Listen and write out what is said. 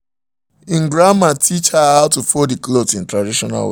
he grandmama teach her how to fold the clothes in traditional way